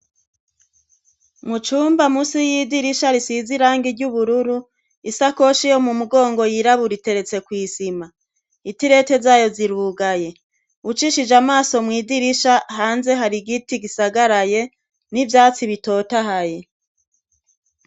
Mu cumba musi y'idirisha risize irangi ry'ubururu, isakoshi yo mu mugongo yirabura iteretse kw'isima. Itirete zayo zirugaye. ucishije amaso mw'idirisha, hanze hari giti gisagaraye, n'ivyatsi bitotahaye.